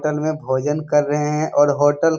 hotel में भोजन कर रहे है और होटल --